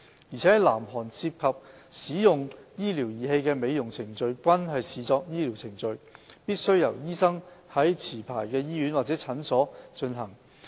而在南韓涉及使用醫療儀器的美容程序均視作醫療程序，必須由醫生在持牌醫院或診療所進行。